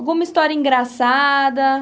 Alguma história engraçada?